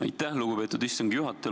Aitäh, lugupeetud istungi juhataja!